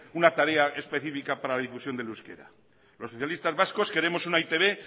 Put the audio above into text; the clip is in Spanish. una tarea específica para la difusión del euskera los socialistas vascos queremos una e i te be